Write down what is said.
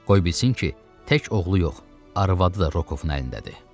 Qoy bilsin ki, tək oğlu yox, arvadı da Rokovun əlindədir.